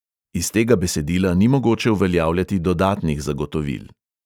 Iz tega besedila ni mogoče uveljavljati dodatnih zagotovil.